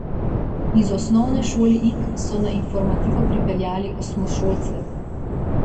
Iz Osnovne šole Ig so na Informativo pripeljali osmošolce.